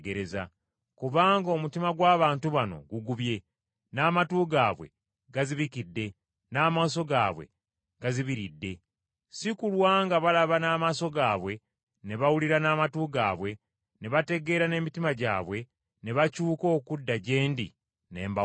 Kubanga omutima gw’abantu bano gugubye. N’amatu gaabwe gazibikidde, n’amaaso gaabwe gazibiridde. Si kulwa nga balaba n’amaaso gaabwe, ne bawulira n’amatu gaabwe, ne bategeera n’emitima gyabwe, ne bakyuka okudda gye ndi, ne mbawonya.’